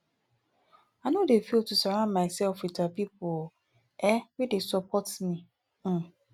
i no dey fail to surround mysef wit um pipo um wey dey support me um